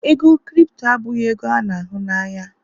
ego Kripto abụghị ego a n'ahụ na anya.